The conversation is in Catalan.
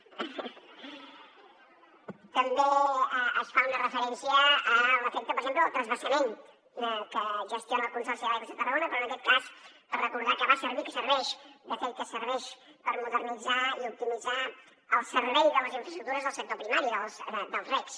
també es fa una referència a l’efecte per exemple del transvasament que gestiona el consorci d’aigües de tarragona però en aquest cas per recordar que va servir que serveix de fet que serveix per modernitzar i optimitzar el servei de les infraestructures del sector primari dels regs